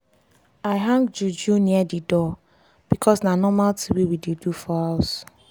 i hang juju near the door because na normal tin wey we dey do for house.